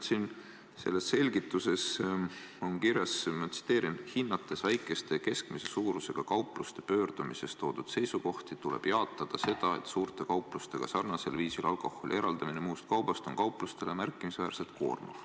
Siin selles selgituses on kirjas : "Hinnates väikeste ja keskmise suurusega kaupluste pöördumises toodud seisukohti, tuleb samas jaatada seda, et suurte kauplustega sarnasel viisil alkoholi eraldamine muust kaubast on kauplustele märkimisväärselt koormav.